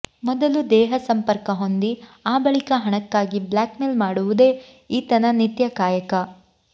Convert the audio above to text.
ಮೊದಲು ದೇಹ ಸಂಪರ್ಕ ಹೊಂದಿ ಆ ಬಳಿಕ ಹಣಕ್ಕಾಗಿ ಬ್ಲ್ಯಾಕ್ ಮೇಲ್ ಮಾಡುವುದೇ ಈತನ ನಿತ್ಯ ಕಾಯಕ